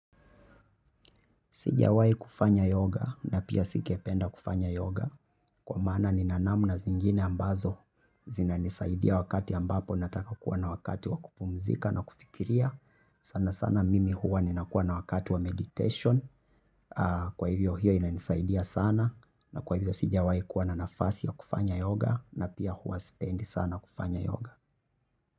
Sijawai kufanya yoga na pia sikependa kufanya yoga. Kwa maana nina namuna zingine ambazo. Zinanisaidia wakati ambapo nataka kuwa na wakati wa kupumzika na kufikiria. Sana sana mimi huwa ninakuwa na wakati wa meditation. Kwa hivyo hiyo inanisaidia sana. Na kwa hivyo sijawai kuwa na nafasi wa kufanya yoga na pia huwa sipendi sana kufanya yoga.